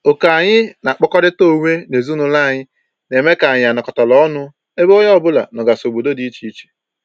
Oku anyị na-akpọkọrịta onwe n'ezinụlọ anyị na-eme ka anyị anọkatara ọnụ ebe onye ọbụla nọgasị obodo dị iche iche